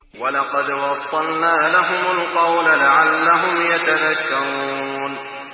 ۞ وَلَقَدْ وَصَّلْنَا لَهُمُ الْقَوْلَ لَعَلَّهُمْ يَتَذَكَّرُونَ